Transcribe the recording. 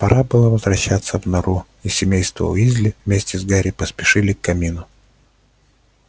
пора было возвращаться в нору и семейство уизли вместе с гарри поспешили к камину